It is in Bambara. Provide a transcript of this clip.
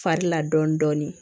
Fari la dɔɔnin dɔɔnin